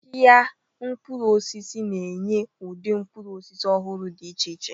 Ahịa mkpụrụ osisi na-enye ụdị mkpụrụ osisi ọhụrụ dị iche iche.